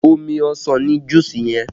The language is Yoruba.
Omi ọsàn ni juusi yẹn